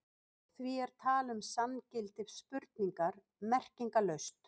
Því er tal um sanngildi spurningar merkingarlaust.